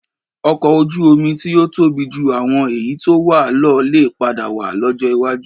Ọkọ̀̀ Ojú-omi tí yóò tóbi ju àwọn èyí tí ó wà lọ lè padà wà lọ́jọ́ iwájú